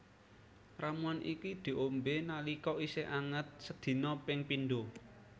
Ramuan iki diombé nalika isih anget sedina ping pindho